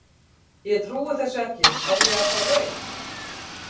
Ég trúi þessu ekki, er ég að fá rautt?